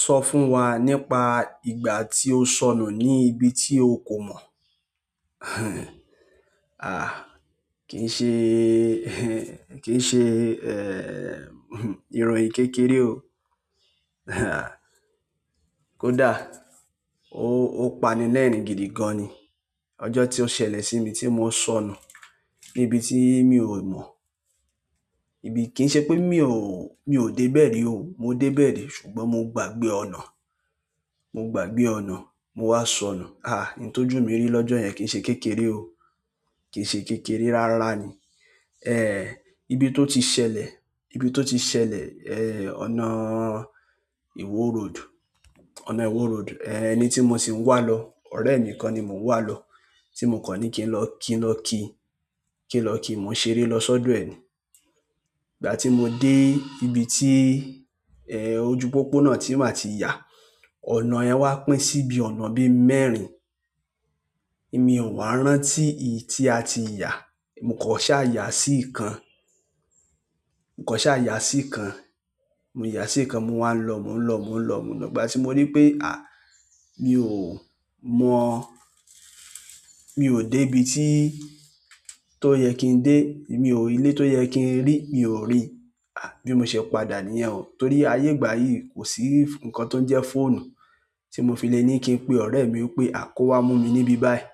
Sọ fún wa nípa ìgbà tí o sọnù ní ibi tí o kò mọ̀. Àh, kì ń ṣe, kì ń ṣe, eh, ìròyìn kékeré o. Kódà ó, ó pani lẹ́ẹ̀rín gidi gan ni. Ọjọ́ tí ó ṣẹlẹ̀ sí mi tí mo sọnù ní ibi tí mi ò mọ̀. Ibi kì ń ṣe pé mi ò, mi ò dé bẹ́ẹ̀ ri o. Mo dé bẹ́ẹ̀ ri ṣùgbọ́n mo gbàgbé ọ̀nà. Mo gbàgbé ọ̀nà, mo wá sọnù. Àh, n tọ́jú mi rí lọ́jọ́ yẹn kì ń ṣe kékeré o. Kì ń ṣe kékeré rárá ni. Eh, ibi tó ti ṣẹlẹ̀, ibi tó ti ṣẹlẹ̀, eh, ọ̀nà ìwó road, ọ̀nà ìwó road. Eh, ẹni tí mo sì ń wà lọ, ọ̀rẹ́ mi kan ni mo n wà lọ. Ti mo kan ni kin lo kin lo ki, kin lo ki mo n ṣeré lo sodo e ni ìgbà tí mo dé ibi tí, eh, ojú pópónà tí mà ti yà, ọ̀nà yẹn wá pín síbi ọ̀nà bí mẹ́rin. Èmi ò wá rántí ì ti a ti yà. Mo kàn ṣáà yà sí ìkan. Mo kàn ṣáà yà sí ìkan. Mo yà sí ìkan, mo wá ń lọ, mò ń lọ, mò ń lọ, mò ń lọ. Ìgbà tí mo rí pé, àh, mi ò mọ̀. Mi ò dé ibi tí tó yẹ kí n dé. Mi ò ilé tó yẹ kí n rí, mi ò rí. Àh, bí mo ṣe padà níyen o. Torí ayé ìgbà yìí kò sí nǹkan tó ń jẹ́ fóònù tí mo fi le ní kí n pe ọ̀rẹ́ mi pé, "À kó wá mú mi níbí báyìí."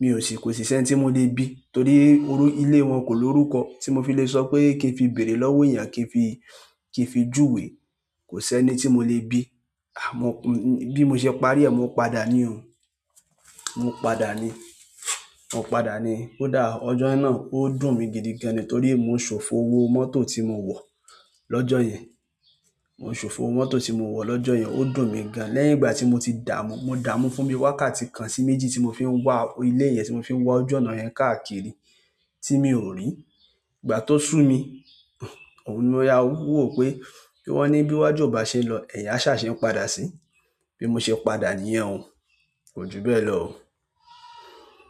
Mi ò sì kò sì sẹ́ń tí mo le bí torí orú ilé wọn kò lórúkọ tí mo fi le sọ pé kí n fi bèèrè lọ́wọ́ èèyàn kí n fi, kí n fi júwe. Kò sí ẹni tí mo le bí. Àmọ́ bí mo ṣe parí ẹ, mo padà ni o. Mo padà ni. Mo padà ni. Kódà ọjọ́ náà ó dùn mi gidi gan ni torí mo ṣòfò owó mọ́tò tí mo wọ̀ lọ́jọ́ yẹn. Mo ṣòfò owó mọ́tò tí mo wọ̀ lọ́jọ́ yẹn. Ó dùn mi gan. Lẹ́yìn ìgbà tí mo ti dààmú, mo dààmú fún mi wákàtí kan sí méjì tí mo fi ń wá ilé yẹn tí mo fi ń wá ojú ọ̀nà yẹn káàkiri tí mi ò rí. Ìgbà tó sú mi, òun ni mo yáwó, wò ó pé wọ́n ní bí wájú ò bá ṣe lọ, ẹ̀yin a ṣà ṣe ń padà sí. Bí mo ṣe padà niyẹn o. Ko ju bẹ́ẹ̀ lo o.